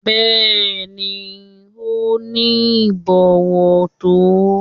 Bẹ́ẹ̀ni, ó ní ìbọ̀wọ̀ tó.